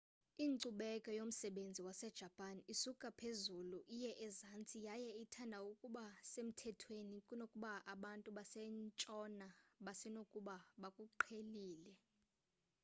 inkcubeko yomsebenzi wasejapan isuka ohezulu iye ezantsi yaye ithanda ukuba semthethweni kunokuba abantu basentshona basenokuba bakuqhelile